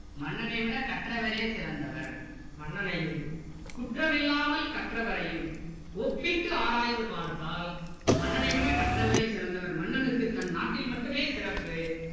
மன்னனைவிட கற்றவரே சிறந்தவர் மன்னனையும் குற்றமில்லாமல் கற்றவரையும் ஒப்பிட்டு ஆராய்ந்து பார்த்தால் மன்னனைவிட கற்றவரே சிறந்தவர் மன்னனுக்கு தன் நாட்டில் மட்டுமே சிறப்பு